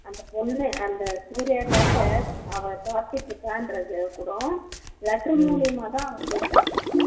அந்த பொண்ணு அந்த சூர்யாகாக அவ காத்துட்டு இருக்கா என்றத கூட letter மூலியமா தான் அவன் தெரிஞ்சிக்கிறான்